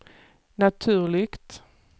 naturligt